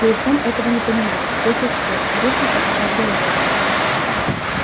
я и сам этого не понимаю ответил скотт грустно покачав головой